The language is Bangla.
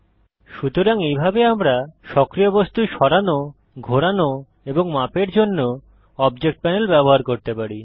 সুতরাং এইভাবে আমরা সক্রিয় বস্তু সরানো ঘোরানো এবং মাপের জন্য অবজেক্ট প্যানেল ব্যবহার করতে পারি